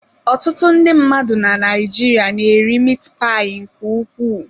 Ọtụtụ ndị mmadụ na Naịjirịa na-eri mit payi nke ukwuu.